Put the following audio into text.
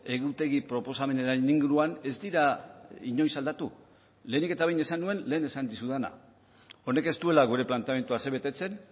egutegi proposamenaren inguruan ez dira inoiz aldatu lehenik eta behin esan nuen lehen esan dizudana honek ez duela gure planteamendua asebetetzen